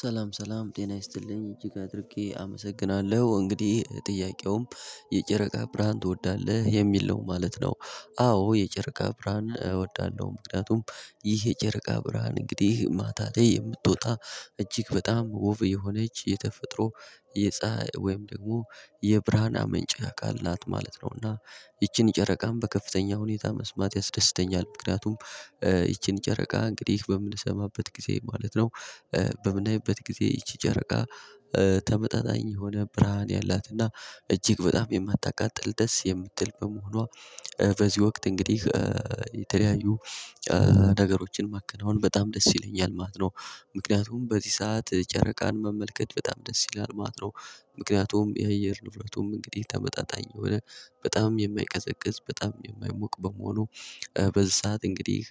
ሰላም ሰላም ጤና ይስጥልኝ እጅግ አድርጌ አመሰግናለሁ እንግዲህ ጥያቄውም የጨረቃ ብርሃን ትወዳለህ የሚል ነው ማለት ነው። አዎ የጨረቃ ብርሃን እወዳለሁ። ምክንያቱም ይህ የጨረቃ ብርሃን እንግዲህ ማታቴ የምትወጣ እጅግ በጣም ውቭ የሆነች የተፈጥሮ የፀሀይ ወይም ደግሞ የብርሃን አመንጭ አካል ናት ማለት ነውና። ይቺን ጨረቃም በከፍተኛ ሁኔታ መስማት ያስደስተኛል። ምክንያቱም ይቺን ጨረቃ እንግዲህ በምንሰማበት ጊዜ ማለት ነው። በምናይበት ጊዜ ይቺ ጨረቃ ተመጣጣኝ የሆነ ብርሃን ያላትና እጅግ በጣም ይምታቃጥል ደስ የምትል በመሆኗ። በዚህ ወቅት እንግዲህ የተለያዩ ነገሮችን ማከናወን በጣም ደስ ይለኛል ማለት ነው። ምክንያቱም በዚህ ሰዓት ጨረቃን መመልከት በጣም ደስ ይለኛል ማለት ነው። ምክንያቱም የአየር ንብረቱም እንግዲህ ተመጣጣኝ የሆነ በጣም የማይቀዘቅዝ በጣም የማይሞቅ በመሆኑ በዚህ ሰዓት እንግዲህ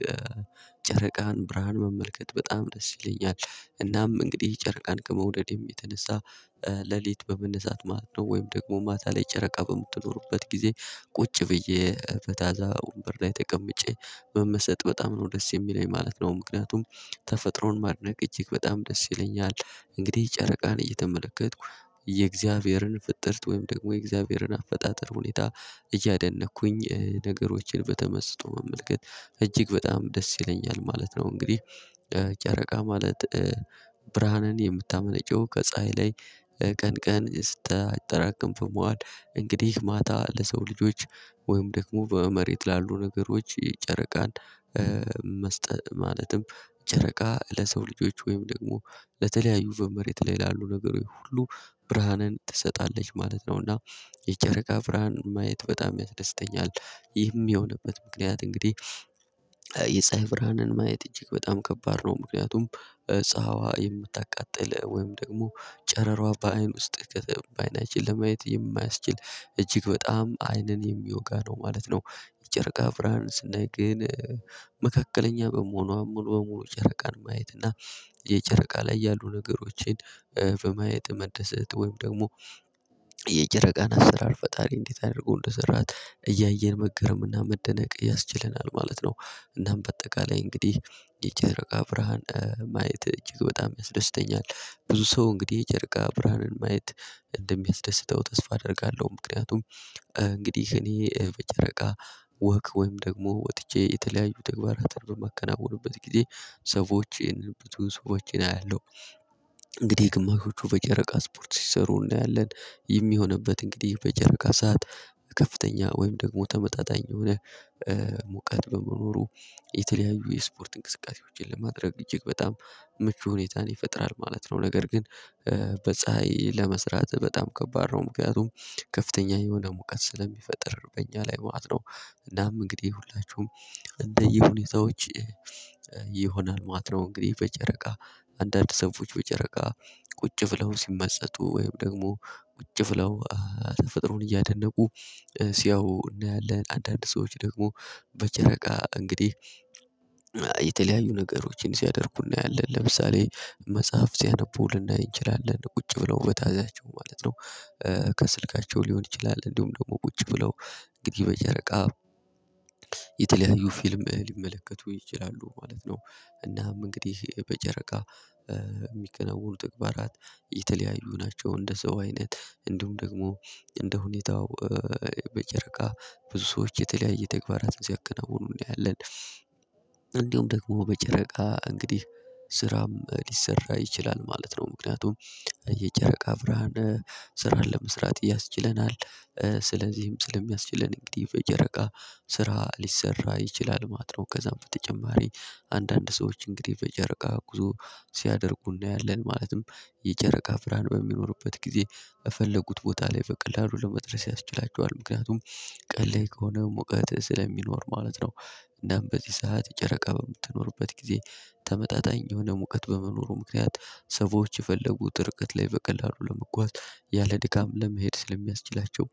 ጨረቃን ብርሃን መመልከት በጣም ደስ ይለኛል። እናም እንግዲህ ጨረቃን ከመውደድ የሚተነሳ ሌሊት በመነሳት ማለት ነው ወይም ደግሞ ማታ ላይ ጨረቃ በምትኖሩበት ጊዜ ቁጭ ብዬ በታዛ ወንበር ላይ ተቀምጬ መመሰጥ በጣም ነው ደስ የሚለኝ ማለት ነው። ምክንያቱም ተፈጥሮን ማድነቅ እጅግ በጣም ደስ ይለኛል። እንግዲህ ጨረቃን እየተመለከትኩ የእግዚአብሔርን ፍጥርት ወይም ደግሞ የእግዚአብሔርን አፈጣጠር ሁኔታ እያደነቅኩኝ ነገሮችን በተመስጦ መመልከት እጅግ በጣም ደስ ይለኛል ማለት ነው። እንግዲህ ጨረቃ ማለት ብርሃንን የምታመነጨው ከፀሀይ ላይ ቀን ቀን ስታጠራቅም ፍሟን እንግዲህ ማታ ለሰው ልጆች ወይም ደግሞ በመሬት ላሉ ነገሮች ጨረቃን መስጠት ማለትም ጨረቃ ለሰው ልጆች ወይም ደግሞ ለተለያዩ በመሬት ላይ ላሉ ነገሩ ሁሉ ብርሃንን ትሰጣለች ማለት ነው። እና የጨረቃ ብርሃን ማየት በጣም ያስደስተኛል። ይህም የሆነበት ምክንያት እንግዲህ የፀሀይ ብርሃንን ማየት እጅግ በጣም ከባድ ነው። ምክንያቱም ፀሀዋ የምታቃጥል ወይም ደግሞ ጨረሯ በአይን ውስጥ ከተባይን በአይናችን ለማየት የማያስችል እጅግ በጣም አይንን የሚወጋ ነው ማለት ነው። የጨረቃ ብርሃን ስናይ ግን መካከለኛ በመሆኗ ሙሉ በሙሉ ጨረቃን ማየት እና የጨረቃ ላይ ያሉ ነገሮችን በማየት መደሰት ወይም ደግሞ የጨረቃን አሰራር ፈጣሪ እንዴት አድርጎ እደሰራት እያየን መገርምና መደነቅ ያስችለናል ማለት ነው። እናም በአጠቃላይ እንግዲህ የጨረቃ ብርሃን ማየት እጅግ በጣም ያስደስተኛል። ብዙ ሰው እንግዲህ የጨረቃ ብርሃኑን ማየት እንደሚያስደስተው ተስፋ አደርጋለሁ። ምክንያቱም እንግዲህ እኔ በጨረቃ ወክ ወይም ደግሞ ወጥቼ የተለያዩ ተግባራት በማከናወኑበት ጊዜ ሰዎች ይሄንን ብትሉ ሰዎችን አያለሁ። እንግዲህ ግማሾቹ በጨረቃ ስፖርት ሲሰሩ እናያለን። ይህን የሆንበት እንግዲህ በጨረቃ ሰዓት ከፍተኛ ወይም ደግሞ ተመጣጣኝ የሆነ ሙቀት በመኖሩ የተለያዩ የስፖርት እንቅስቃሴዎችን ለማድረግ እጅግ በጣም ምቹ ሁኔታን ይፈጥራል ማለት ነው። ነገር ግን በፀሀይ ለመስራት በጣም ከባድ ነው። ምክንያቱም ከፍተኛ የሆነ ሙቀት ስለሚፈጥር በእኛ ላይ ማለት ነው። እናም እንግዲህ ሁላችሁም እንደየሁኔታዎች ይሆናል ማለት ነው። እንግዲህ በጨረቃ አንዳንድ ሰዎች በጨረቃ ቁጭ ብለው ሲመሰጡ ወይም ደግሞ ቁጭ ብለው ተፈጥሮን እያደነቁ ሲያው እናያለን። አንዳንድ ሰዎች ደግሞ በጨረቃ እንግዲህ የተለያዩ ነገሮችን ሲያደርጉ እናያለን ለምሳሌ መጽሐፍ ሲያነቡ ልናይ እንችላለን ቁጭ ብለው ከታያቸው ማለት ነው። ከስልካቸው ሊሆን ይችላል እንዲሁም ደግሞ ቁጭ ብለው እንግዲህ በጨረቃ የተለያዩ ፊልም ሊመለከቱ ይችላሉ ማለት ነው። እናም እንግዲህ በጨረቃ የሚከናወሩ ተግባራት የተለያዩ ናቸው። እንደ ሰው አይነት እንዲሁም ደግሞ እንደ ሁኔታው በጨረቃ ብዙ ሰዎች የተለያየ ተግባራትን ሲያቀናውኑ እናያለን። እንደውም ደግሞ በጨረቃ እንግዲህ ስራም ሊሰራ ይችላል ማለት ነው። ምክንያቱም የጨረቃ ብርሃን ስራ ለመስራት ያስችለናል። ስለዚህም ስለሚያስችለን እንግዲህ በጨረቃ ስራ ሊሰራ ይችላል ማለት ነው። ከዛም በተጨማሪ አንዳንድ ሰዎች እንግዲህ በጨረቃ ጉዞ ሲያደርጉ እናያለን። ማለትም የጨረቃ ብርሃን በሚኖርበት ጊዜ በፈለጉት ቦታ ላይ በቀላሉ ለመድረስ ያስችላቸዋል ምክንያቱም ቀለል ከሆነ ሙቀት ስለሚኖር ማለት ነው። እናም በዚህ ሰዓት ጨረቃ በምትኖርበት ጊዜ ተመጣጣኝ የሆነ ሙቀት በመኖሩ ምክንያት ሰዎች የፈለጉት እርቀት ላይ በቀላሉ ለመጓዝ ያለ ድካም ለመሄድ ስለሚያስችላቸው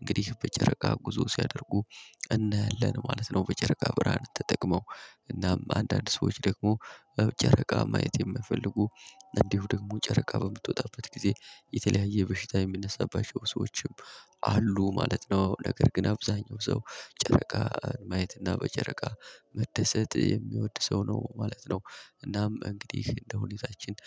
እንግዲህ በጨረቃ ጉዞ ሲያደርጉ እናያለን ማለት ነው። በጨረቃ ብርሃን ተጠቅመው እናም አንዳንድ ሰዎች ደግሞ ጨረቃ ማየት የሚፈልጉ እንዲሁ ደግሞ ጨረቃ በምትወጣበት ጊዜ የተለያየ በሽታ የሚነሳባቸው ሰዎችም አሉ ማለት ነው። ነገር ግን አብዛኛው ሰው ጨረቃን ማየት እና በጨረቃ መደሰት የሚወድ ሰው ነው ማለት ነው። እናም እንግዲህ እንደሁኔታችን